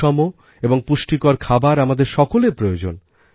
সুষম এবং পুষ্টিকর খাবার আমাদের সকলের প্রয়োজন